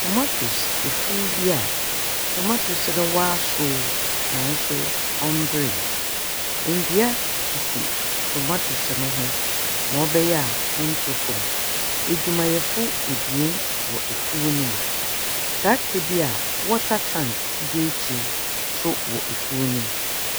Tomatese efuw bi a tomatese no wɔasow naaso ɔmmbere, ndua sisi tomatese no ho ma ɔbɛyɛ a ɔnntɔ famu. Edwumayɛfo ebien wɔ efuw no mu, tractor bi a water tank da ekyir so wɔ efuw no mu.